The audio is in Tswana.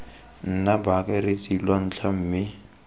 nna baakaretsi lwa ntlha mme